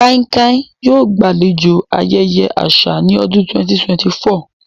Kankia yoo gbalejo ayẹyẹ aṣa ni ọdun 2024.